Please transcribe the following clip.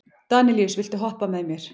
Danelíus, viltu hoppa með mér?